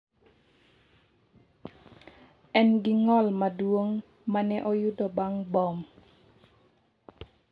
En gi ng’ol maduong’ ma ne oyudo bang’ bom.